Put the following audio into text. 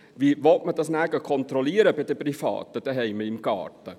Wie will man das nachher kontrollieren bei den Privaten zuhause im Garten?